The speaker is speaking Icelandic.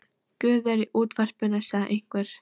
Guð er í útvarpinu, sagði einhver.